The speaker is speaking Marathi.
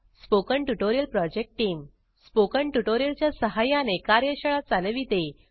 spoken tutorial project team spoken tutorial च्या सहाय्याने कार्यशाळा चालविते